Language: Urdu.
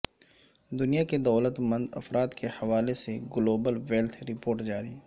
دنیا کے دولت مند افراد کے حوالے سے گلوبل ویلتھ رپورٹ جاری